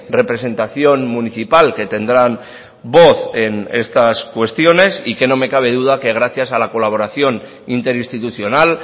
representación municipal que tendrán voz en estas cuestiones y que no me cabe duda que gracias a la colaboración interinstitucional